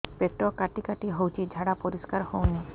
ପେଟ କାଟି କାଟି ହଉଚି ଝାଡା ପରିସ୍କାର ହଉନି